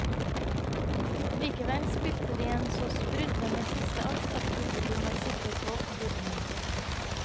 Likevel spilte de en så sprudlende siste akt at publikum var sikre på gode nyheter.